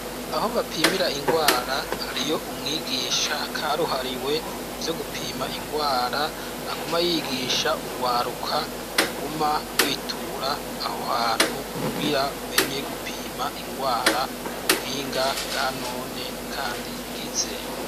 Aho bapimira ingwara hariyo umwigisha karuhariwe muvyo gupima ingwara aguma yigisha ugwaruka ruguma rwitura aho hantu kugira rumenye gupima ingwara ku buhinga bwa none kandi bwizewe.